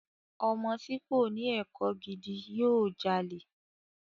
Ọmọ tí kòní ẹ̀kọ́ gidi yóò jalè.